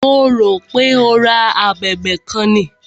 Mo rò pé o ra a abẹ̀bẹ̀ kan ni.